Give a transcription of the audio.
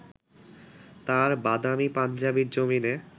তাঁর বাদামি পাঞ্জাবির জমিনে